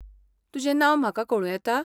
तुजें नांव म्हाका कळूं येता?